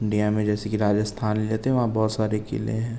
India मे जैसे के राजिस्थान लेते है वहाँ बोहोत सारे कीले हैं।